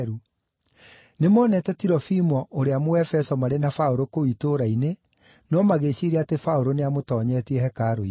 (Nĩmonete Tirofimo ũrĩa Mũefeso marĩ na Paũlũ kũu itũũra-inĩ, no magĩĩciiria atĩ Paũlũ nĩamũtoonyetie hekarũ-inĩ.)